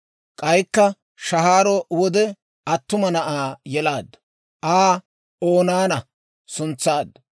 K'aykka shahaaro wode attuma na'aa yelaaddu; Aa Oonaana suntsaaddu.